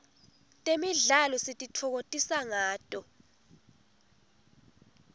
temidlalo sititfokotisa ngato